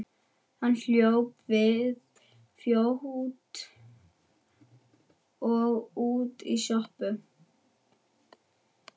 Hann hljóp við fót og út í sjoppu.